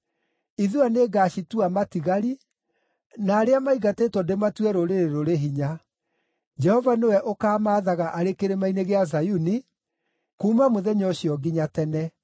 Ithua nĩngacitua matigari, na arĩa maingatĩtwo ndĩmatue rũrĩrĩ rũrĩ hinya. Jehova nĩwe ũkamaathaga arĩ Kĩrĩma-inĩ gĩa Zayuni, kuuma mũthenya ũcio nginya tene.